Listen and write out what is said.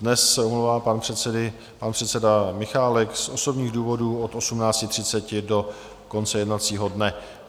Dnes se omlouvá pan předseda Michálek z osobních důvodů od 18.30 do konce jednacího dne.